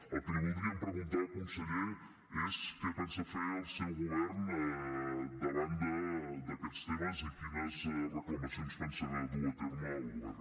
el que li voldríem preguntar conseller és què pensa fer el seu govern davant d’aquests temes i quines reclamacions pensa dur a terme el govern